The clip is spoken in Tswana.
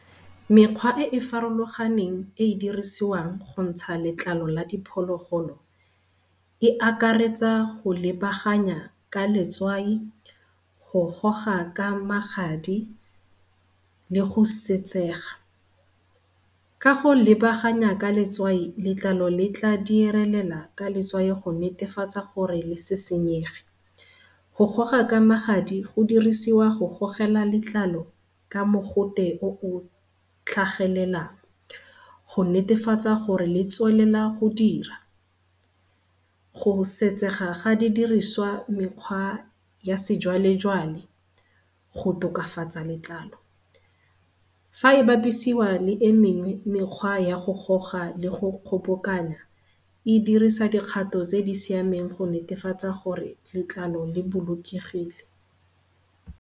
Mekgwa e e farologaneng e e dirisiwang gontsha letlalo la diphologolo e akaretsa go lebaganya ka letswai, go goga ka magadi le go . Ka go lebaganya ka letswai letlalo le tla direlela ka letswai go netefatsa gore le se senyege. Go goga ka magadi go dirisiwa go gogela letlalo ka mogote o o tlhagelelang go netefatsa gore le tswelela go dira. Go setsega ga didiriswa mekgwa ya sejwalejwale go tokafatsa letlalo, fa e bapisiwa le e mengwe menkgwa ya go goga le go kgobokanya e dirisa dikgato tse di siameng go netefatsa gore letlalo le bolokegile.